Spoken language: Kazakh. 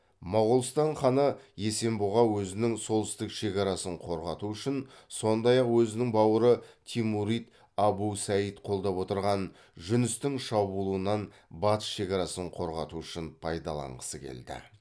моголстан ханы есенбұға өзінің солтүстік шекарасын қорғату үшін сондай ақ өзінің бауыры тимурид абу саид қолдап отырған жүністің шабуылынан батыс шекарасын қорғату үшін пайдаланғысы келді